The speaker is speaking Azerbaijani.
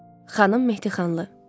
Xanım Mehdixanlı.